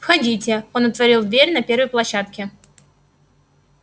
входите он отворил дверь на первой площадке